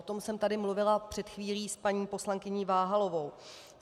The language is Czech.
O tom jsem tady mluvila před chvílí s paní poslankyní Váhalovou.